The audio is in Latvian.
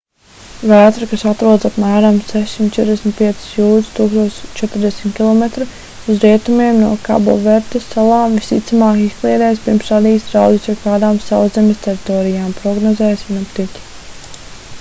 vētra kas atrodas apmēram 645 jūdzes 1040 km uz rietumiem no kaboverdes salām visticamāk izkliedēs pirms radīs draudus jebkādām sauszemes teritorijām prognozē sinoptiķi